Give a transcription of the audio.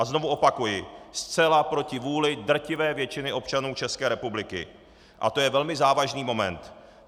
A znovu opakuji, zcela proti vůli drtivé většiny občanů České republiky a to je velmi závažný moment.